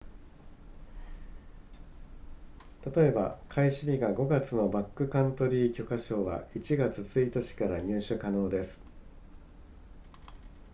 例えば開始日が5月のバックカントリー許可証は1月1日から入手可能です